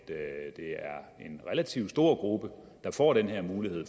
er en relativt stor gruppe der får den her mulighed